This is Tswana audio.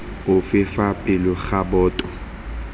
ofe fa pele ga boto